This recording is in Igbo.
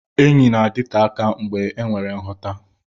Enyi na-adịte aka mgbe enwere nghọta.